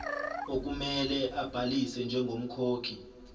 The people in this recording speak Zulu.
okumele abhalise njengomkhokhi